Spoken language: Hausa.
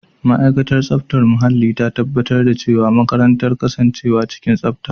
Ma'aikatar tsaftar muhalli ta tabbatar da cewa makarantar ta kasance cikin tsafta.